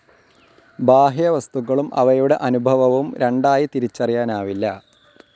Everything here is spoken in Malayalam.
ബാഹ്യവസ്തുക്കളും അവയുടെ അനുഭവവും രണ്ടായി തിരിച്ചറിയാനാവില്ല.